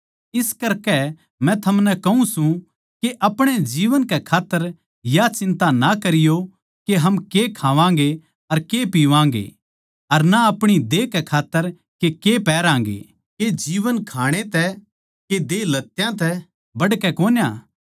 इस करकै मै थमनै कहूँ सूं के अपणे जीवन के खात्तर या चिंता ना करियो के हम के खावांगें अर के पीवागें अर ना अपणी देह के खात्तर के पैहरागें के जीवन खाणै तै के देह लत्यां तै बढ़कै कोन्या